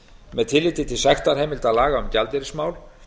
með tilliti til sektarheimilda laga um gjaldeyrismál